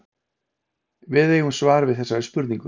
við eigum svar við þessari spurningu